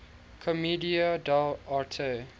commedia dell arte